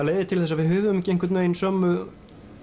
leiðir til þess að við höfum ekki einhvern veginn sömu